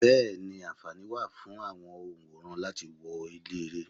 Bẹẹni, anfaani wà fún àwọn onworan láti wọ ilé-ere.